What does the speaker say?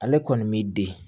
Ale kɔni b'i den